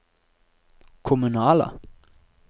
kommunale